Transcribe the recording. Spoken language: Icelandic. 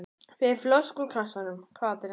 Fyrir flösku úr kassanum, hvað drengur?